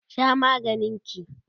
Sha maganin ki!